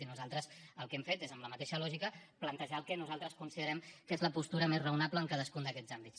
i nosaltres el que hem fet és amb la mateixa lògica plantejar el que nosaltres considerem que és la postura més raonable en cadascun d’aquests àmbits